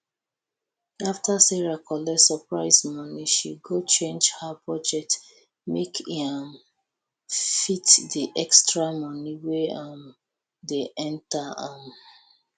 after sarah collet surprise moni she go change her budget make e um fit the extra money wey um dey enta um